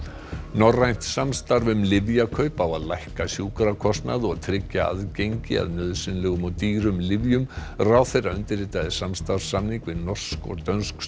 norrænt samstarf um lyfjakaup á að lækka sjúkrakostnað og tryggja aðgengi að nauðsynlegum og dýrum lyfjum ráðherra undirritaði samstarfssamning við norsk og dönsk